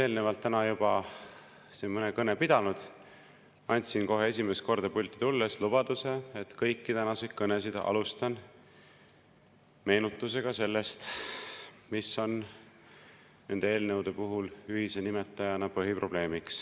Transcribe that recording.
Mina, olles täna juba siin mõne kõne pidanud, andsin esimest korda pulti tulles lubaduse, et kõiki tänaseid kõnesid alustan meenutusega sellest, mis on nende eelnõude puhul ühise nimetajana põhiprobleem.